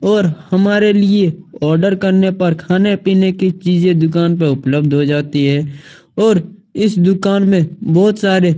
और हमारे लिए ऑर्डर करने पर खाने-पीने की चीजे दुकान पर उपलब्ध हो जाती है और इस दुकान में बहोत सारे--